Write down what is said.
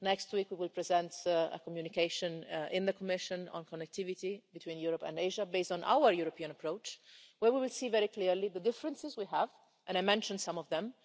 Next week we will present a communication in the Commission on connectivity between Europe and Asia, based on our European approach, where we will see very clearly the differences we have, and I mentioned some of them.